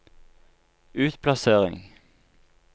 utplassering